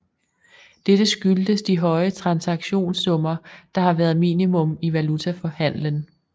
Dette skyldes de høje transaktionssummer der har været minimum i valutahandlen